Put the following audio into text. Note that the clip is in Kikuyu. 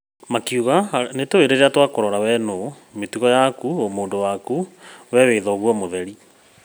‘’makiuga, nĩtũĩ rĩrĩa twakũrora wee nũũ, mĩtugo yaku, ũmũndũ waku, wee wĩ thoguo mũtheri’’